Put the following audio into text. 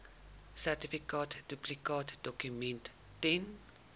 sertifikaat duplikaatdokument ten